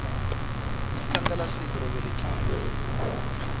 ku tlangelasiku ro velekiwa